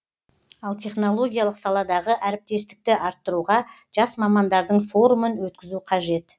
ал технологиялық саладағы әріптестікті арттыруға жас мамандардың форумын өткізу қажет